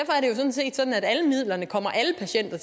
sådan set sådan at alle midlerne kommer alle patienter